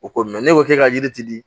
O ko mɛ ne k'o kɛ ka yiriti di